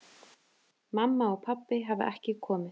Mamma og pabbi hafa ekki komið.